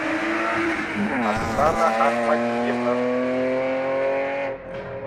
оксана ахмадиевна